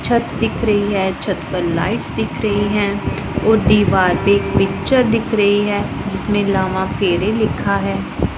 छत दिख रही है छत पर लाइट्स दिख रही है और दीवार पे एक पिक्चर दिख री है जिसमें लावा फेरे लिखा है।